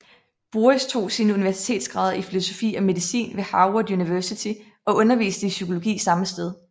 Boris tog sine universitetsgrader i filosofi og medicin ved Harvard University og underviste i psykologi samme sted